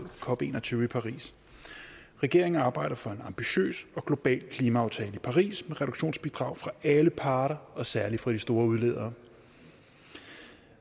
cop en og tyve i paris regeringen arbejder for en ambitiøs og global klimaaftale i paris med reduktionsbidrag fra alle parter og særligt fra de store udledere